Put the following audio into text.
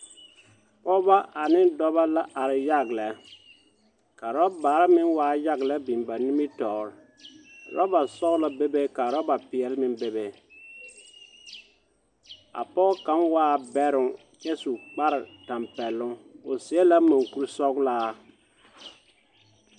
Pɔɔbɔ ane dɔba la are yag lɛ, ka rɔbare meŋ waa yag lɛ biŋ ba nimitɔɔr. Rɔbasɔgelɔ bebe ka rɔbapeɛl meŋ bebe. A pɔg kaŋa waa bɛroŋ kyɛ su kparetambɛloŋ. O seɛ la moŋkur-sɔglaa.